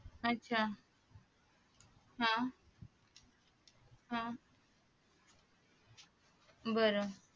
आच्छा हा हा बर